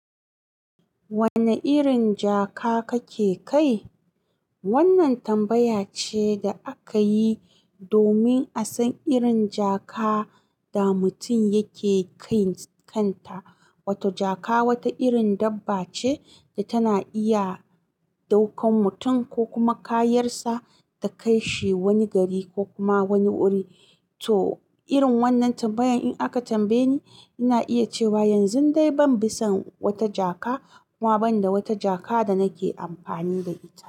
Wanne irin jaka kake kai? Wannan tambaya ce da aka yi domin a san irin jaka da mutum yake kai kanta. Wato jaka wata irin dabba ce da tana iya ɗaukan mutum ko kuma kayansa ta kai shi wani gari ko kuma wani wuri. To irin wannan tambayan in aka tambaye ni, ina iya cewa yanzu dai ban bi son wata jaka kuma ban da wata jaka da nake amfani ba.